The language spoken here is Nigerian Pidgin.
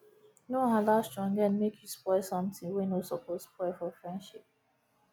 no allow stronghead mek you spoil somtin wey no soppose spoil for friendship